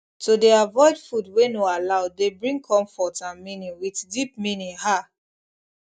to dey avoid food wey no allow dey bring comfort and meaning with deep meaning ah